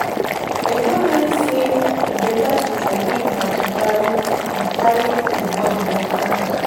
I don learn say e better to forgive than carry di carry di burden of anger.